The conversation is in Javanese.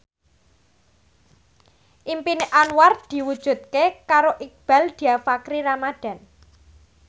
impine Anwar diwujudke karo Iqbaal Dhiafakhri Ramadhan